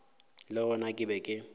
le gona ke be ke